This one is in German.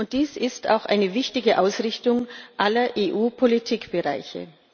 Dies ist auch eine wichtige Ausrichtung aller EU Politikbereiche.